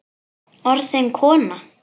Orðin kona.